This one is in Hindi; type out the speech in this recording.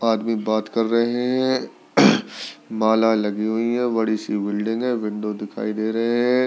आदमी बात कर रहे हैं माला लगी हुई है बड़ी सी बल्डिंग है विंडो दिखाई दे रहे हैं।